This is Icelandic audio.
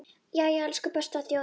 Jæja, elsku besta þjóðin mín!